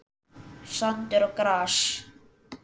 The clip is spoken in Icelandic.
Sandur og gras.